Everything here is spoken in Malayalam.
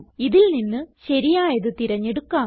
ഇതിൽ നിന്ന് ശരിയായത് തിരഞ്ഞെടുക്കാം